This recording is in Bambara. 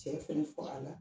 Cɛfana fagala